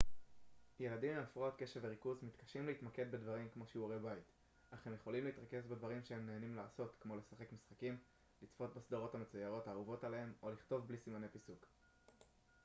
ילדים עם הפרעת קשב וריכוז מתקשים להתמקד בדברים כמו שיעורי בית אך הם יכולים להתרכז בדברים שהם נהנים לעשות כמו לשחק משחקים לצפות בסדרות המצוירות האהובות עליהם או לכתוב בלי סימני פיסוק